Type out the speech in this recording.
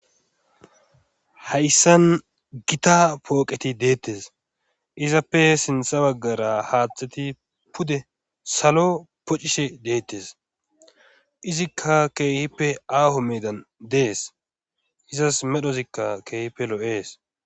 hayssan gita pooqeti deettes izappe sintha baggara haathteti pude salo pocishe deettes izikka keehippe aaho meedan dees izas medhozikka keehippe loo7ees